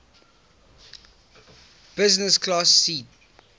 business class seat